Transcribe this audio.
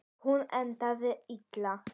Hún endaði illa.